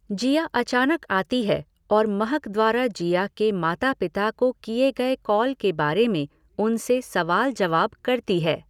जिया अचानक आती है और महक द्वारा जिया के माता पिता को किए गए कॉल के बारे में उनसे सवाल जवाब करती है।